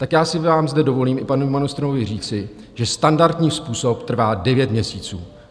Tak já si vám zde dovolím, i panu ministrovi, říci, že standardní způsob trvá devět měsíců.